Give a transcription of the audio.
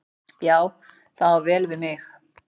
Já, það á vel við mig.